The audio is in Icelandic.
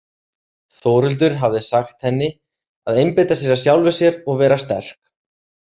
Þórhildur hafði sagt henni að einbeita sér að sjálfri sér og vera sterk.